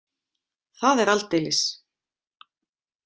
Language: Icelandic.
Það er aldeilis.